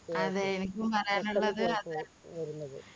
അതെ എനിക്കും പറയാനുള്ളത്